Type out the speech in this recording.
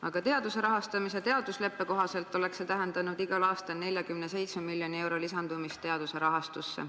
Aga teaduse rahastamise leppe kohaselt oleks see tähendanud igal aastal 47 miljoni euro lisandumist teaduse rahastusse.